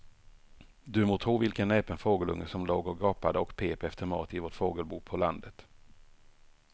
Du må tro vilken näpen fågelunge som låg och gapade och pep efter mat i vårt fågelbo på landet.